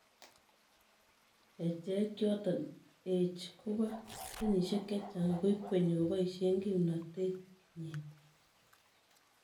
Kecheik choton ech, koba kenyisiek chechang ako ikwenyi kobaisien kimnatet nyin